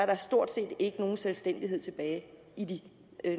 der stort set ikke nogen selvstændighed tilbage i de